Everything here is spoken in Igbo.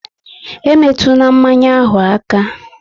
E metuna mmanya ahụ aka!